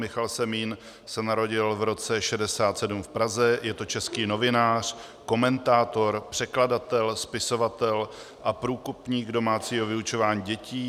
Michal Semín se narodil v roce 1967 v Praze, je to český novinář, komentátor, překladatel, spisovatel a průkopník domácího vyučování dětí.